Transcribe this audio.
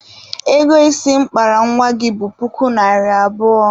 Ego isi m kpara nwa gị bụ puku naịra abụọ.